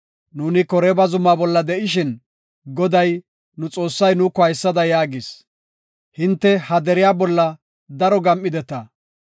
Nuuni Koreeba Zumaa bolla de7ishin, Goday, nu Xoossay nuuko haysada yaagis. “Hinte ha deriya bolla daro gam7ideta.